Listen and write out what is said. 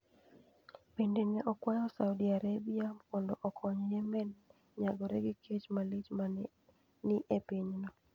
Bende ne okwayo Saudi Arabia mondo okony Yemen nyagore gi kech malich ma ne ni e pinyno.